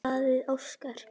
Blaðið óskar